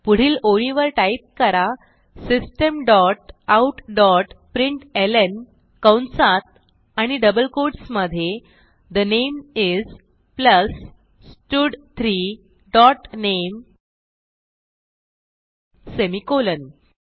पुढील ओळीवर टाईप करा system dot out dot println कंसात आणि डबल कोट्स मधे ठे नामे इस प्लस स्टड3 डॉट नामे सेमिकोलॉन